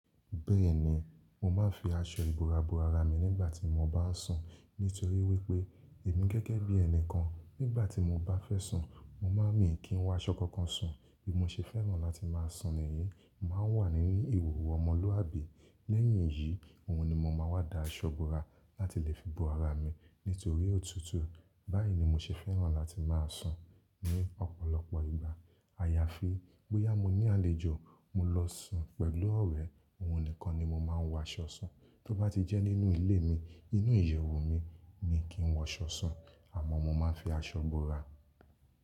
Bẹ́ẹ̀ni, mo máa ń fi aṣọ ìbora bo ara mi nígbà tí mo bá sùn. Nítorí wípé èmi gẹ́gẹ́ bí ẹni kan, nígbà tí mo bá fẹ́ sùn, mo máa ń mí kí ń wọ aṣọ kankan sùn. Bí mo ṣe fẹ́ràn láti máa sùn nìyen. Màá ń wà ní ìhòòhò ọmọlúàbí. Lẹ́yìn èyí, òun ni mo máa wá da aṣọ ìbora láti lè fi bo ara mi nítorí òtútù. Báyìí ni mo ṣe fẹ́ràn láti máa sùn ní ọ̀pọ̀lọpọ̀ ìgbà. Àyàfi bóyá mo ní àlejò, mo lọ sùn pẹ̀lú ọ̀rẹ́, òun nìkan ni mo máa ń wọ aṣọ sùn. Tó bá ti jẹ́ nínú ilé mi, inú ìyẹ̀wù mi ni kí ń wọ aṣọ sùn àmọ́ mo máa ń fi aṣọ ìbora.